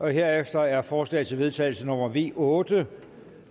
herefter er forslag til vedtagelse nummer v otte